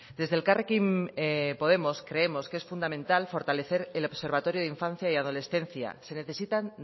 desde elkarrekin podemos creemos que es fundamental fortalecer el observatorio de infancia y adolescencia se necesitan